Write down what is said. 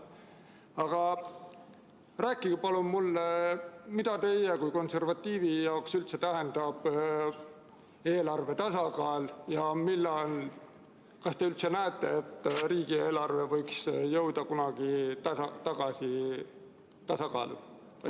Aga palun rääkige mulle, mida teie kui konservatiivi jaoks üldse tähendab eelarve tasakaal ja kas te üldse näete, et riigieelarve võiks kunagi tagasi tasakaalu jõuda.